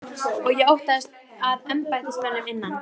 Og ég óttaðist að embættismönnum innan